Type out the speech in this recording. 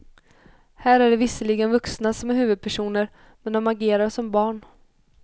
Här är det visserligen vuxna som är huvudpersoner, men de agerar som barn.